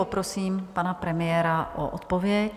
Poprosím pana premiéra o odpověď.